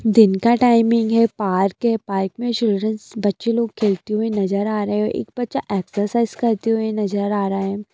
दिन का टाइमिंग है यह पार्क है पार्क में चिल्ड्रेन्स बच्चे लोग खेलते हुए नजर आ रहे हैं एक बच्चा एक्सरसाइज करते हुए नजर आ रहा है।